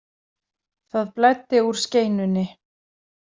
Það blæddi úr skeinunni.